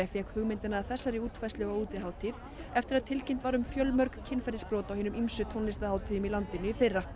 fékk hugmyndina að þessari útfærslu á útihátíð eftir að tilkynnt var um fjölmörg kynferðisbrot á hinum ýmsu tónlistarhátíðum í landinu í fyrra